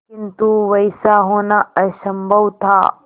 किंतु वैसा होना असंभव था